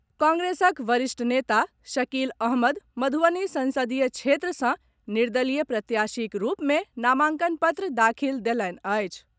कांग्रेसक वरिष्ठ नेता शकील अहमद मधुबनी संसदीय क्षेत्र से निर्दलीय प्रत्याशीक रूप मे नामांकन पत्र दाखिल देलनि अछि।